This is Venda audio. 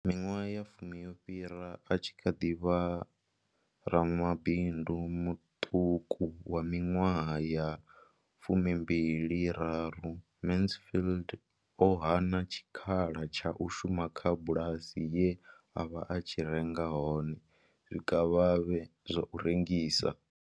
Miṅwaha ya fumi yo fhiraho, a tshi kha ḓi vha ramabindu muṱuku wa miṅwaha ya fumi mbili raru, Mansfield o hana tshikhala tsha u shuma kha bulasi ye a vha a tshi renga hone zwikavhavhe zwa u rengisa.